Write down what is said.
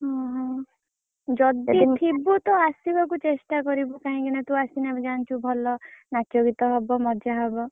ଓହୋ! ଯଦି ଥିବୁ ତ ଆସିବାକୁ ଚେଷ୍ଟା କରିବୁ। କାହିଁକିନା ତୁ ଆସିଲେ ନାଚଗୀତ ହବ ମଜା ହବ।